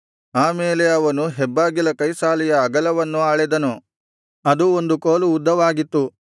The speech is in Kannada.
ಆಮೇಲೆ ಅವನು ಹೆಬ್ಬಾಗಿಲ ಕೈಸಾಲೆಯ ಅಗಲವನ್ನು ಅಳೆದನು ಅದು ಒಂದು ಕೋಲು ಉದ್ದವಾಗಿತ್ತು